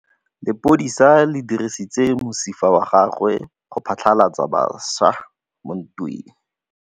Lepodisa le dirisitse mosifa wa gagwe go phatlalatsa batšha mo ntweng.